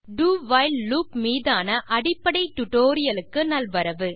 do while loop மீதான அடிப்படை டுடோரியலுக்கு நல்வரவு